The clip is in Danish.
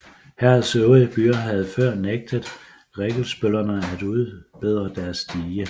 Herredets øvrige byer havde før nægtet rikkelsbøllerne at udbedre deres dige